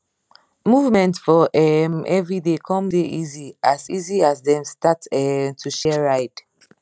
movement for um everyday com dey easy as easy as dem start um to share ride